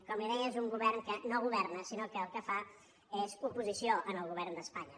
com li deia és un govern que no governa sinó que el que fa és oposició al govern d’espanya